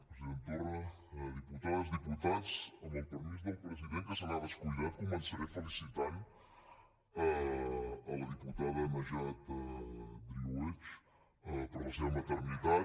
president torra diputades diputats amb el permís del president que se n’ha descuidat començaré felicitant la diputada najat driouech per la seva maternitat